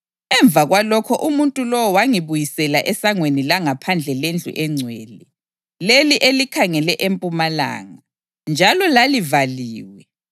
Emva kwalokho umuntu lowo wangibuyisela esangweni langaphandle lendlu engcwele, leli elikhangele empumalanga, njalo lalivaliwe.